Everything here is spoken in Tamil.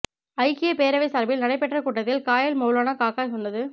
ஐக்கிய பேரவை சார்பில் நடைபெற்ற கூட்டத்தில் காயல் மௌலான காக்கா சொன்னது